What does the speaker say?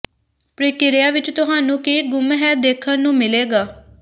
ਪ੍ਰਕਿਰਿਆ ਵਿਚ ਤੁਹਾਨੂੰ ਕੀ ਗੁੰਮ ਹੈ ਦੇਖਣ ਨੂੰ ਮਿਲੇਗਾ